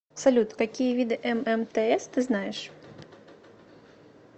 салют какие виды ммтс ты знаешь